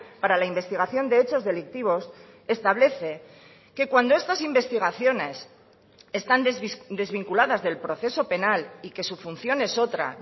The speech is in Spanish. para la investigación de hechos delictivos establece que cuando estas investigaciones están desvinculadas del proceso penal y que su función es otra